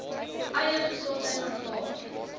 eie gesondheid aanvaar